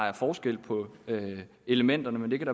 er forskel på elementerne men det kan